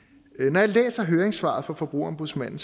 når jeg læser høringssvaret fra forbrugerombudsmanden